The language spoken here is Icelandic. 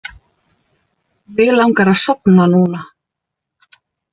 Mig langar að sofna núna.